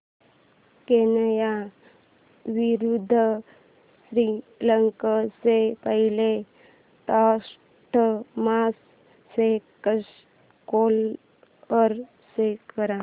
Kenya विरुद्ध श्रीलंका च्या पहिल्या टेस्ट मॅच चा स्कोअर शो कर